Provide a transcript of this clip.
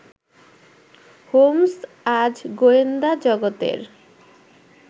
Holmes আজ গোয়েন্দা জগতের